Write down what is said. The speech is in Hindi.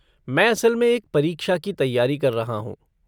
मैं असल में एक परीक्षा की तैयारी कर रहा हूँ।